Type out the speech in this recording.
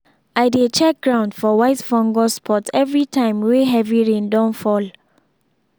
i dey check ground for white fungus spot everytime wey heavy rain don fall.